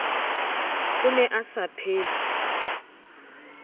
o ne a sa phetse